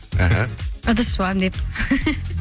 аха ыдыс жуамын деді